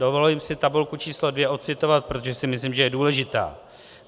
Dovoluji si tabulku číslo 2 ocitovat, protože si myslím, že je důležitá.